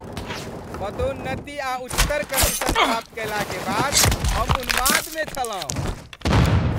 पदोन्नति आ उच्चतर कमीशन प्राप्त कयलाक बाद, हम उन्माद में छलहुँ।